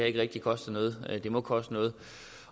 ikke rigtig koster noget det må koste noget